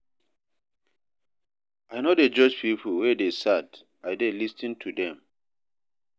I no dey judge pipo wey dey sad, I dey lis ten to dem.